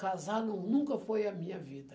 Casar num nunca foi a minha vida.